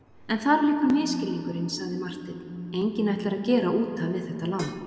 En þar liggur misskilningurinn, sagði Marteinn,-enginn ætlar að gera út af við þetta land.